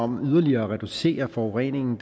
med yderligere at reducere forureningen